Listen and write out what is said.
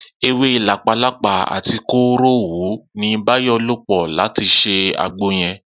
Ewé làpálàpáà àti kóró òwú ni Báyò̩ lò̩ pò̩ láti s̩e àgbo ye̩n